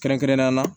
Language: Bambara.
Kɛrɛnkɛrɛnnenya la